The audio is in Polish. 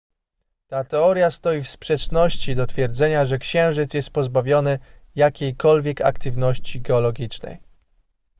ta teoria stoi w sprzeczności do twierdzenia że księżyc jest pozbawiony jakiejkolwiek aktywności geologicznej